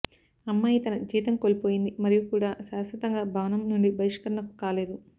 అమ్మాయి తన జీతం కోల్పోయింది మరియు కూడా శాశ్వతంగా భవనం నుండి బహిష్కరణకు కాలేదు